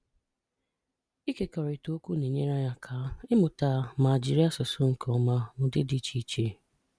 Ịkekọrịta okwu na-enyere anyị aka ịmụta ma jiri asụsụ nke ọma n'ụdị dị iche iche.